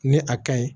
Ni a kaɲi